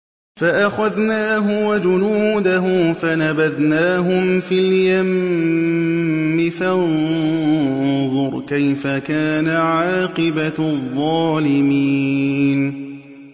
فَأَخَذْنَاهُ وَجُنُودَهُ فَنَبَذْنَاهُمْ فِي الْيَمِّ ۖ فَانظُرْ كَيْفَ كَانَ عَاقِبَةُ الظَّالِمِينَ